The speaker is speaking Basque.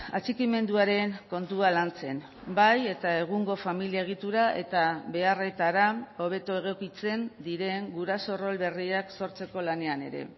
atxikimenduaren kontua lantzen bai eta egungo familia egitura eta beharretara hobeto egokitzen diren guraso rol berriak sortzeko lanean ere